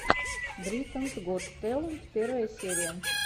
британс гот тэлэнт первая серия